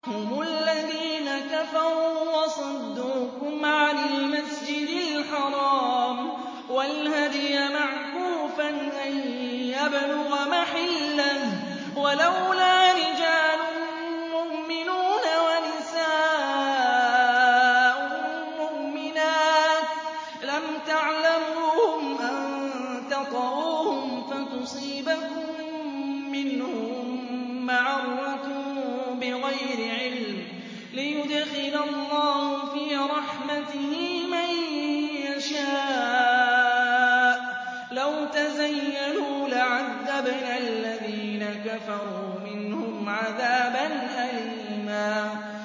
هُمُ الَّذِينَ كَفَرُوا وَصَدُّوكُمْ عَنِ الْمَسْجِدِ الْحَرَامِ وَالْهَدْيَ مَعْكُوفًا أَن يَبْلُغَ مَحِلَّهُ ۚ وَلَوْلَا رِجَالٌ مُّؤْمِنُونَ وَنِسَاءٌ مُّؤْمِنَاتٌ لَّمْ تَعْلَمُوهُمْ أَن تَطَئُوهُمْ فَتُصِيبَكُم مِّنْهُم مَّعَرَّةٌ بِغَيْرِ عِلْمٍ ۖ لِّيُدْخِلَ اللَّهُ فِي رَحْمَتِهِ مَن يَشَاءُ ۚ لَوْ تَزَيَّلُوا لَعَذَّبْنَا الَّذِينَ كَفَرُوا مِنْهُمْ عَذَابًا أَلِيمًا